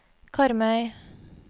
Karmøy